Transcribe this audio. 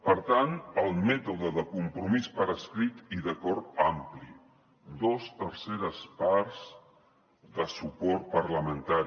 per tant el mètode de compromís per escrit i d’acord ampli dues terceres parts de suport parlamentari